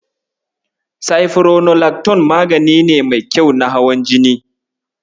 Sifironolakton magani ne mai kyau na hawan jini.